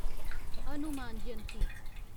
Hanuman Jayanti